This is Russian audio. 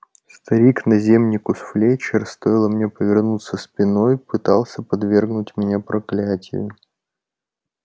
старик наземникус флетчер стоило мне повернуться спиной пытался подвергнуть меня проклятию